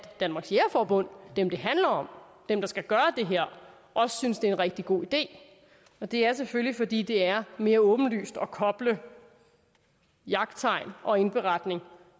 danmarks jægerforbund dem det handler om dem der skal gøre det her også synes det er en rigtig god idé og det er selvfølgelig fordi det er mere åbenlyst at koble jagttegn og indberetning